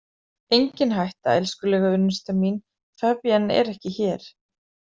Engin hætta, elskulega unnusta mín, Fabienne er ekki hér